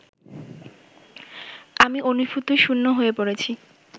আমি অনুভূতিশূন্য হয়ে পড়েছি